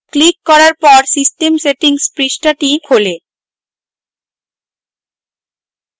click করার পর system settings পৃষ্ঠাটি খোলে